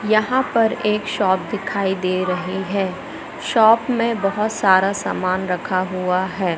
यहां पर एक शॉप दिखाई दे रहे है शॉप में बहोत सारा सामान रखा हुआ है।